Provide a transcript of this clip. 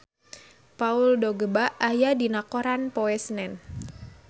Paul Dogba aya dina koran poe Senen